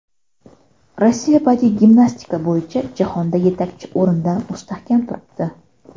Rossiya badiiy gimnastika bo‘yicha jahonda yetakchi o‘rinda mustahkam turibdi.